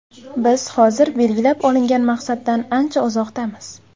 Biz hozir belgilab olingan maqsaddan ancha uzoqdamiz.